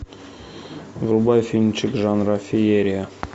врубай фильмчик жанра феерия